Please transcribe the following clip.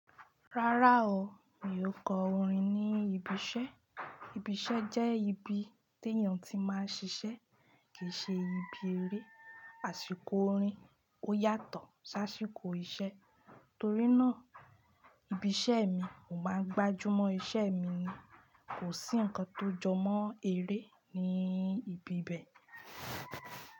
Rárá o, mi ò kọ orin ní ibi iṣẹ́. Ibi iṣẹ́ jẹ́ ibi tí èèyàn tí máa ń ṣiṣẹ́ kì í ṣe ibi eré. Àṣìkò orin ó yàtọ̀ sáàsìkò iṣẹ́ torí náà ibi iṣẹ́ mi, mo máa ń gbájú mọ́ iṣẹ́ mi ni kò sí ǹkan tó jọmọ́ eré ní ibi bẹ́ẹ̀